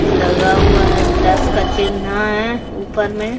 लगा हुआ है प्लस का चीन्हा है ऊपर में।